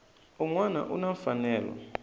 un wana u na mfanelo